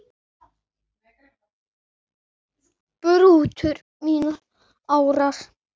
brutu mínar árar